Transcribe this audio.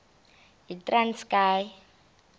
yitranskayi